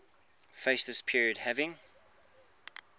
fascist period having